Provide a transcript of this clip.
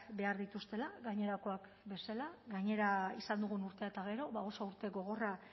behar dituztela gainerakoak bezala gainera izan dugun urte eta gero ba oso urte gogorra